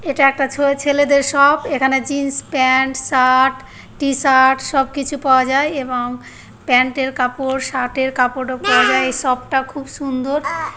এটা একটা ছোঁয়া ছেলেদের শপ এখানে জিন্স প্যান্ট শার্ট টিশার্ট সবকিছু পাওয়া যায় এবং প্যান্ট এর কাপড় শার্ট কাপড়ও পড়ে যায় এই শপ টা খুব সুন্দর।